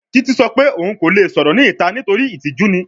Titi sọ pe oun ko le sọrọ ni ita nitori itiju ni